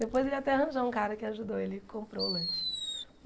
Depois ele ia até arranjou um cara que ajudou ele e comprou o lanche.